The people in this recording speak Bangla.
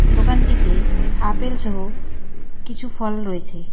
দোকানটিতে আপেলসহ কিছু ফল রয়েছে.